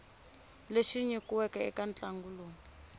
lexi nyikiweke eka ntlangu lowu